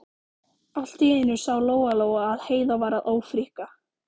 Allt í einu sá Lóa Lóa að Heiða var að ófríkka.